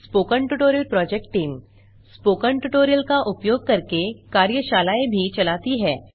spoken tutorial project team spoken tutorial का उपयोग करके कार्यशालाएँ भी चलाती है